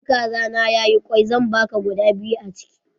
In kaza na ya yi kwai, zan baka guda biyu a chiki.